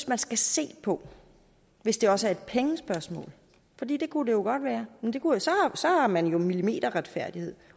man skal se på hvis det også er et pengespørgsmål for det det kunne det jo godt være så har man jo millimeterretfærdighed